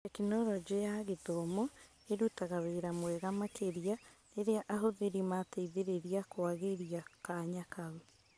Tekinoronjĩ ya Gĩthomo ĩrutaga wĩra wega makĩria rĩrĩa ahũthĩri mateithĩrĩria kwagĩria kanya kau.